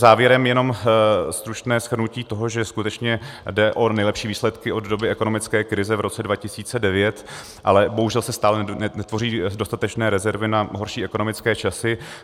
Závěrem jenom stručné shrnutí toho, že skutečně jde o nejlepší výsledky od doby ekonomické krize v roce 2009, ale bohužel se stále netvoří dostatečné rezervy na horší ekonomické časy.